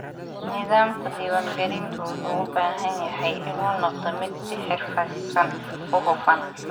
Nidaamka diiwaangelintu wuxuu u baahan yahay inuu noqdo mid si xirfadaysan u hufan.